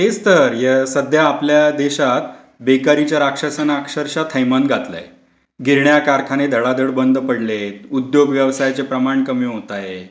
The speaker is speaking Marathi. तेच तर. सध्या आपल्या देशात बेकारीच्या राक्षसाने अक्षरशः थैमान घातलंय. गिरण्या कारखाने धडाधड बंद पडले, उद्योग व्यवसायचे प्रमाण कमी होतंय.